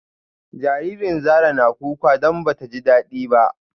Jaririn Zara na kuka don bata ji dadi ba